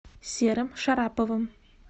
серым шараповым